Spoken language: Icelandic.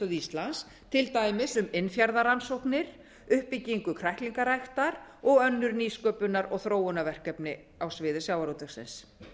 íslands til dæmis um innfjarðarannsóknir uppbyggingu kræklingaræktar og önnur nýsköpunar og þróunarverkefni á sviði sjávarútvegsins